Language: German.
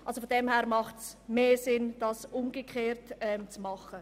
Es ergibt aus dieser Sicht also mehr Sinn, dies umgekehrt zu machen.